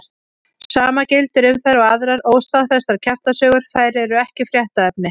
Sama gildir um þær og aðrar óstaðfestar kjaftasögur, þær eru ekki fréttaefni.